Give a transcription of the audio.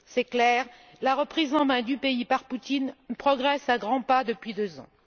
C'est clair, la reprise en main du pays par Poutine progresse à grands pas depuis deux ans.